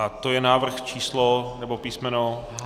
A to je návrh číslo nebo písmeno...